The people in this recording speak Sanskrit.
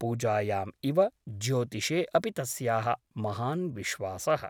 पूजायाम् इव ज्योतिषे अपि तस्याः महान् विश्वासः ।